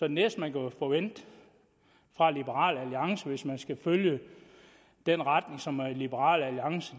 næste man kan forvente fra liberal alliance hvis man skal følge den retning som liberal alliance